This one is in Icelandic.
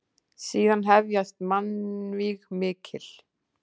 Síðan hefjast mannvíg mikil.